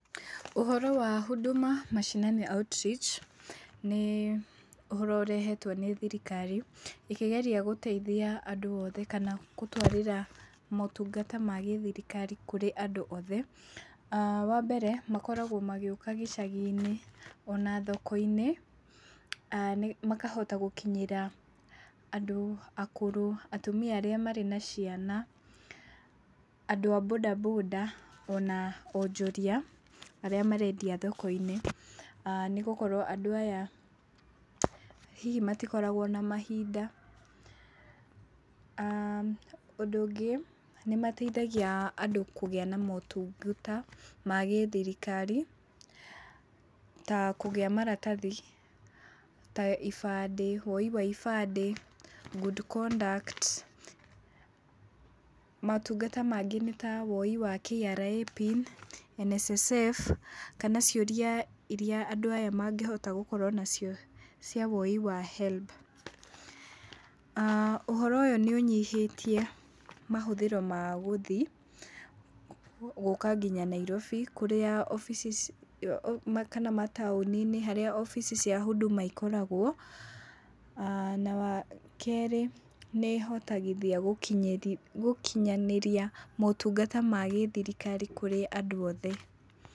Ũhoro wa Huduma Mashinani Outreach, nĩ ũhoro ũrehetwo nĩ thirikari ĩkĩgeria gũteithia andũ oothe kana ĩkĩgeria gũtwarĩra motungata ma gĩthirikari kũrĩ andũ oothe. Wa mbere makoragwo magĩũka gĩcagi-inĩ, ona thoko-inĩ makahota gũkinyĩra andũ akũrũ, atumia arĩa marĩ na ciana, andũ a bonda bonda, ona onjoria arĩa marendia thoko-inĩ, nĩgũkorwo andũ aya hihi matikoragwo na mahinda. Ũndũ ũngĩ nĩmateithagia andũ kũgĩa na motungata ma gĩthirikari ta kũgĩa maratathi, ta ibandĩ, woi wa ibandĩ, good conduct, motungata mangĩ, nĩ ta woi wa KRA PIN, NSSF kana ciũrĩa iria andũ aya mangĩhota gũkorwo nacio cia woi wa HELB, aah ũhoro ũyũ nĩũnyihĩtie mahũthĩro ma gũthi, gũka nginya Nairobi kũrĩa obici kana mataũnĩ-inĩ harĩa obici cia Huduma ikoragwo, na wa kerĩ, nĩĩhotagithia gũkinyanĩria motungata ma gĩthirikari kũrĩ andũ othe.